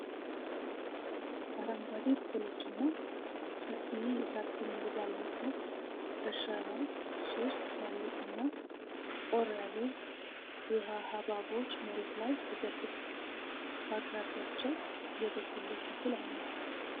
አረንጓዴ ቅጠሎችና ሰፊ የሣር ክምር ባለበት እርሻ ላይ፣ ሶስት ትላልቅና ጠቆር ያሉ ውሃ-ሐብሐቦች መሬት ላይ ተዘርግተዋል። በአቅራቢያቸው የበቆሎ ተክል አለ።